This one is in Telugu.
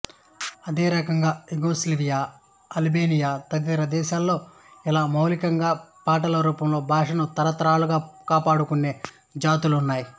అదేరకంగా యుగొస్లావియా అల్బేనియా తదితర దేశాల్లో ఇలా మౌఖికంగా పాటల రూపంలో భాషను తరతరాలుగా కాపాడుకొనే జాతులున్నాయి